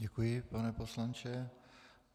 Děkuji, pane poslanče.